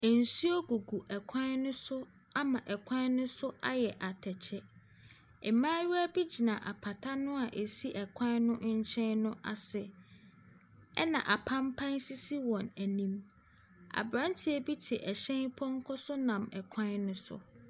Nsuo gugu kwan no so ama kwan no so ayɛ atɛkyɛ. Mmaayewa bi gyina apata no a ɛsi kwan no kyɛn no ase, ɛna apampa sisi wɔn anim. Aberanteɛ bi te ɛhyɛn pɔnkɔ so nam kwan no so.